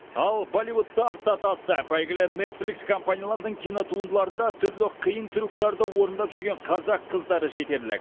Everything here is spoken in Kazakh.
ал болливудты артта тастап әйгілі нетфликс компаниялардың кинотуындыларында түрлі қиын трюктерді орындап жүрген қазақ қыздары жетерлік